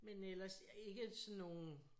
Men ellers ikke sådan nogen